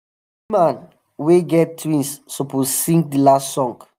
na woman wey get twins suppose sing the last song.